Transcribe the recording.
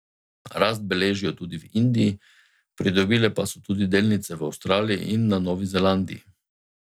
Rast beležijo tudi v Indiji, pridobile pa so tudi delnice v Avstraliji in na Novi Zelandiji.